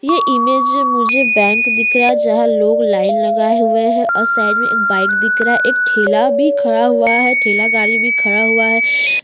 यह इमेज में मुझे बैंक दिख रहा है जहाँ लोग लाइन लगाये हुए हैं और साइड में एक बाइक दिख रहा है एक ठेला भी खड़ा हुआ है ठेला गाड़ी भी खड़ा हुआ है।